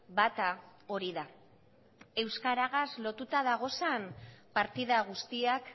bata hori da euskaragaz lotuta dagozan partida guztiak